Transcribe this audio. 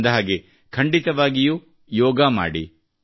ಅಂದಹಾಗೆ ಖಂಡಿತವಾಗಿಯೂ ಯೋಗ ಮಾಡಿ